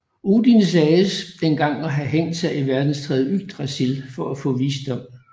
Odin sagdes en gang at have hængt sig i verdenstræet Yggdrasil for å få visdom